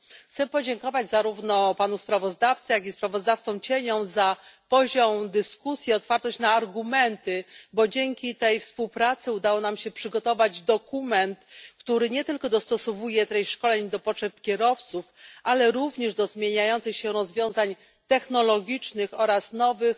Chcę podziękować zarówno panu sprawozdawcy, jak i sprawozdawcom cieniom za poziom dyskusji i otwartość na argumenty, bo dzięki tej współpracy udało nam się przygotować dokument, który dostosowuje treści szkoleń nie tylko do potrzeb kierowców, ale również do zmieniających się rozwiązań technologicznych oraz nowych